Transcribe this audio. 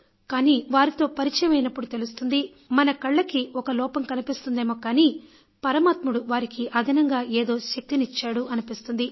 కానీ వారితో పరిచయం అయినప్పుడు తెలుస్తుంది మనకు కళ్ళకి ఒక లోపం కనిపిస్తుందేమో కానీ పరమాత్ముడు వారికి అదనంగా ఏదో శక్తినిచ్చాడు అనిపిస్తుంది